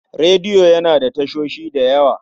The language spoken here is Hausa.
Rediyo yana da tashoshi da yawa.